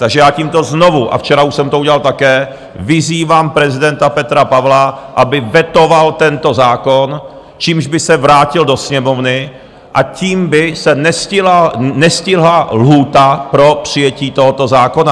Takže já tímto znovu, a včera už jsem to udělal také, vyzývám prezidenta Petra Pavla, aby vetoval tento zákon, čímž by se vrátil do Sněmovny a tím by se nestihla lhůta pro přijetí tohoto zákona.